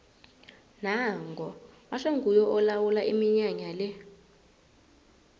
nango batjho nguye olawula iminyanya le